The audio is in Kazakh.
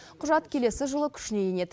құжат келесі жылы күшіне енеді